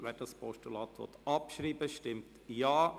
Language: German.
Wer dieses Postulat abschreiben will, stimmt Ja,